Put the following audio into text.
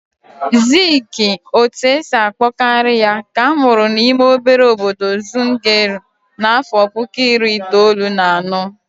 Ziiki, otu esi akpọ karị ya, ka amụrụ n'ime obere obodo Zungeru n'afọ puku iri itoolu na anọ.